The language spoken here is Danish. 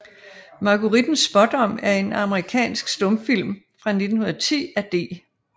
Marguerittens Spaadom er en amerikansk stumfilm fra 1910 af D